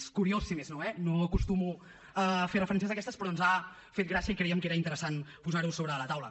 és curiós si més no eh no acostumo a fer referències d’aquestes però ens ha fet gràcia i creiem que era interessant posar ho sobre de la taula